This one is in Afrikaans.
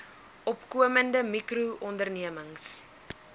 opkomende mikro ondernemings